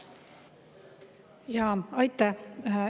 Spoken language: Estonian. Aitäh!